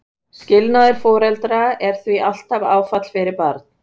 Skilnaður foreldra er því alltaf áfall fyrir barn.